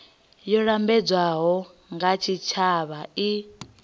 yo lambedzwaho nga tshitshavha i